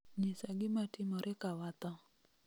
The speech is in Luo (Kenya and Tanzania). nyisa gimatimore ka watho